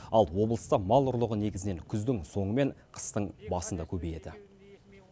ал облыста мал ұрлығы негізінен күздің соңы мен қыстың басында көбейеді